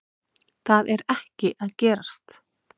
Það er ekki að gerast